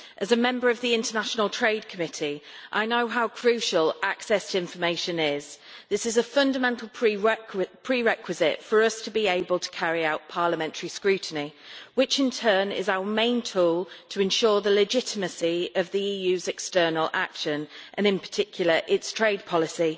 As a member of the Committee on International Trade I know how crucial access information is. This is a fundamental prerequisite for us to be able to carry out parliamentary scrutiny, which in turn is our main tool to ensure the legitimacy of the EU's external action and, in particular, its trade policy.